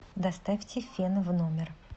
доставьте фен в номер